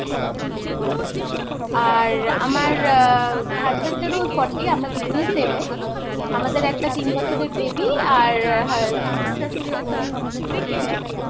আর আমার uh husband এরও Forty. আমরা দুজনেই same age, আমাদের একটা তিন বছরের baby আর শ্বশুর শাশুড়ি আছেন অ্যা Sixty up